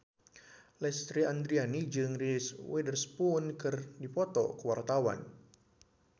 Lesti Andryani jeung Reese Witherspoon keur dipoto ku wartawan